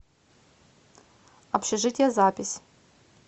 общежитие запись